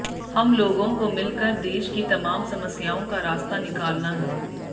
हम लोगों को मिलकर देश की तमाम समस्याओं का रास्ता निकालना है